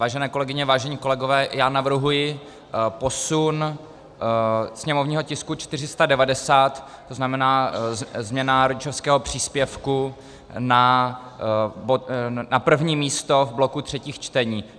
Vážené kolegyně, vážení kolegové, já navrhuji posun sněmovního tisku 490, to znamená změna rodičovského příspěvku, na první místo v bloku třetích čtení.